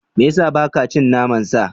Me ya sa ba ka cin naman sa?